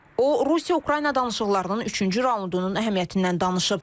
O Rusiya-Ukrayna danışıqlarının üçüncü raundunun əhəmiyyətindən danışıb.